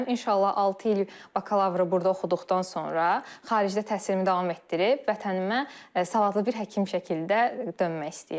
İnşallah altı il bakalavr burda oxuduqdan sonra xaricdə təhsilimi davam etdirib vətənimə savadlı bir həkim şəkildə dönmək istəyirəm.